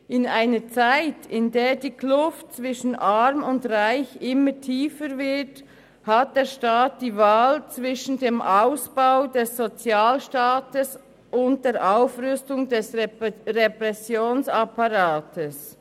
«In einer Zeit, in der die Kluft zwischen Arm und Reich immer tiefer wird, hat der Staat die Wahl zwischen dem Ausbau des Sozialstaats und der Aufrüstung des Repressionsapparats.